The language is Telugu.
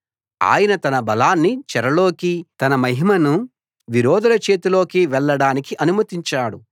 ఆయన తన బలాన్ని చెరలోకీ తన మహిమను విరోధుల చేతిలోకీ వెళ్ళడానికి అనుమతించాడు